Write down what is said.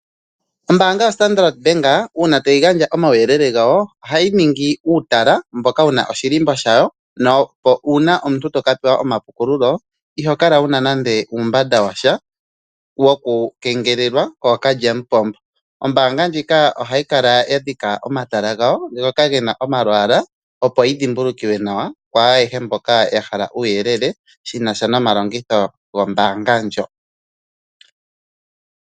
Ombaanga yo Standard Bank uuna tayi gandja omauyelele gawo ohayi ningi uutala mboka wuna oshilimbo shawo na uuna omuntu toka pewa omapukululo iho kala nande wuna uumbanda washa woku keengelelwa kookalya mupombo. Ombaanga ndjika ohayi kala yadhika omatala gawo ngoka gena omalwaala, opo yi dhimbulikiwe kwaayehe mboka yena ehalo lyo mauyelele shinasha noma longitho gombaanga ndjo.